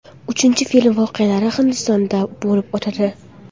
Uchinchi film voqealari Hindistonda bo‘lib o‘tadi.